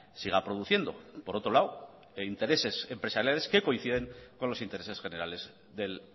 siga produciendo por otro lado en intereses empresariales que coinciden con los intereses generales del